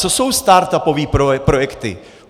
Co jsou startupové projekty?